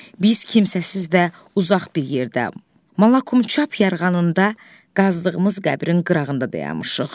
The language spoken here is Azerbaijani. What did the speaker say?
Biz kimsəsiz və uzaq bir yerdə, Malakumçap yarğanında qazdığımız qəbrin qırağında dayanmışıq.